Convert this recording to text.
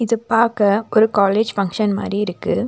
இது பாக்க ஒரு காலேஜ் பங்ஷன் மாரி இருக்கு.